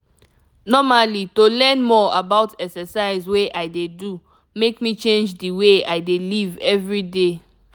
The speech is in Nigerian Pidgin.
normally to learn more about exercise wey i dey do make me change the way i dey live every day.